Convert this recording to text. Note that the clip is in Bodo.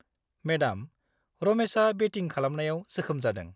मेडाम, रमेसा बेटिं खालामनायाव जोखोम जादों।